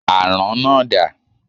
Àrán náà dà?